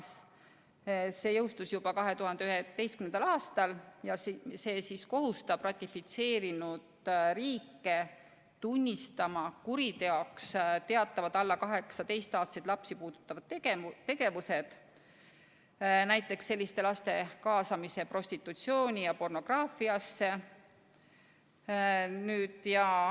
See jõustus juba 2011. aastal ja see kohustab dokumendi ratifitseerinud riike tunnistama kuriteoks teatavad alla 18-aastaseid lapsi puudutavad tegevused, näiteks selliste laste kaasamise prostitutsiooni ja pornograafiasse.